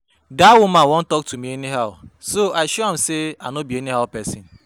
Dat woman wan talk to me anyhow so I show am say I no be anyhow person